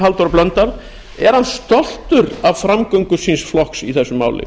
halldór blöndal er hann stoltur af framgöngu síns flokks í þessu máli